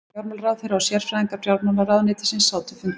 Fjármálaráðherra og sérfræðingar fjármálaráðuneytisins sátu fundinn